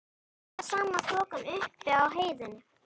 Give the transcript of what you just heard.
Hér var sama þokan og uppi á heiðinni.